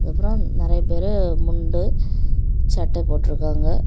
அப்புறம் நெறைய பேரு முன்டு சட்டை போட்டுருக்காங்க.